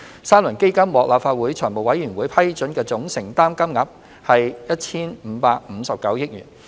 三輪基金獲立法會財務委員會批准的總承擔金額為 1,559 億元。